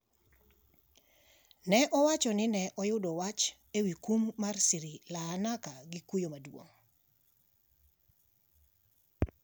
ne owacho ni ne oyudo wach ewi kum mar Sri Laanaka gi kuyo maduong'.